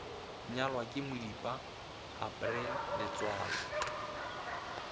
nyalwa ke modipa april letsoalo